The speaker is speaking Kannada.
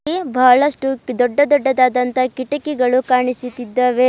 ಗೆ ಬಹಳಷ್ಟು ದೊಡ್ಡ ದೊಡ್ಡದಾದಂತಹ ಕಿಟಕಿಗಳು ಕಾಣಿಸುತ್ತಿದ್ದಾವೆ.